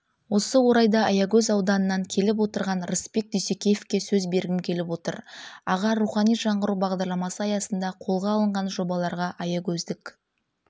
осы орайда аягөз ауданынан келіп отырған рысбек дүйсекеевке сөз бергім келіп отыр аға рухани жаңғыру бағдарламасы аясында қолға алынған жобаларға аягөздік